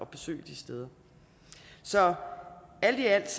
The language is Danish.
besøge de steder så alt i alt